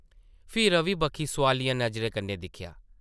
फ्ही रवि बक्खी सोआलिया नज़रें कन्नै दिक्खेआ ।